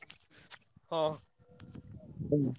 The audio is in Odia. ହଁ।